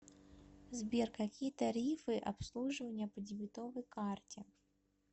сбер какие тарифы обслуживание по дебетовой карте